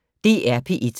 DR P1